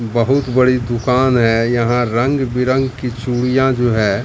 बहुत बड़ी दुकान है यहां रंग बिरग की चुडिया जो है।